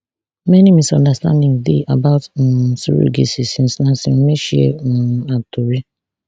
many misunderstandings dey about um surrogacy since nancy umeh share um her tori